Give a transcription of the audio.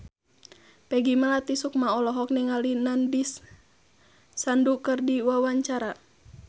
Peggy Melati Sukma olohok ningali Nandish Sandhu keur diwawancara